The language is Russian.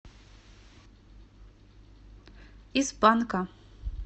из панка